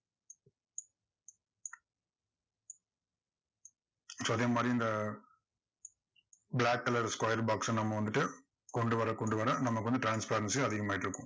so அதே மாதிரி இந்த black colour square box அ நம்ம வந்துட்டு கொண்டு வர கொண்டு வர நமக்கு வந்து transparency அதிகமாயிட்டிருக்கும்.